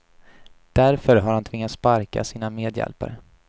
Därför har han tvingats sparka sina medhjälpare.